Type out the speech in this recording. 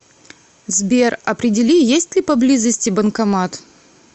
сбер определи есть ли поблизости банкомат